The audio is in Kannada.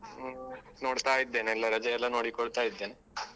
ನೋಡ್ತಾ ಇದ್ದೇನೆ ಎಲ್ಲ ರಜೆ ಎಲ್ಲ ನೋಡಿಕೊಳ್ತಾ ಇದ್ದೇನೆ.